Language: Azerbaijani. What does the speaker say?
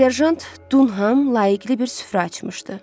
Serjant Dunhəm layiqli bir süfrə açmışdı.